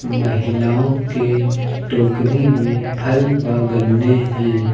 महिलाओं के टोकरी में फल व गन्ने हैं।